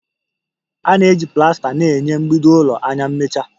A na-eji plasta na-enye mgbidi ụlọ anya mmecha